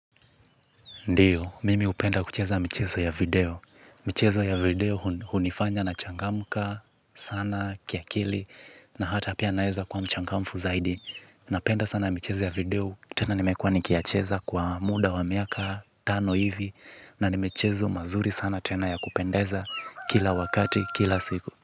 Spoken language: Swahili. Ndiyo, mimi hupenda kucheza michezo ya video. Michezo ya video hunifanya nachangamka sana, kiakili, na hata pia naeza kuwa mchangamfu zaidi. Napenda sana michezo ya video, tena nimekuwa nikiyacheza kwa muda wa miaka tano hivi, na nimechezo mazuri sana tena ya kupendeza kila wakati, kila siku.